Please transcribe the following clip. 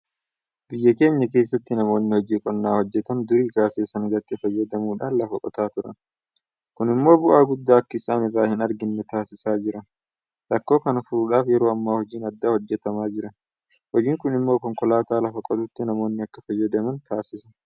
Biyya keenya keessatti namoonni hojii qonnaa hojjetan durii kaasee sangaatti fayyadamuudhaan lafa qotaa turan. Kun immoo bu'aa guddaa akka isaan irraa hinarganne taasisaa jira. Rakkoo kana furuudhaaf yeroo ammaa hojiin addaa hojjetamaa jira. Hojiin kun immoo konkokaataa lafa qotutti namoonni akka fayyadaman taasisa.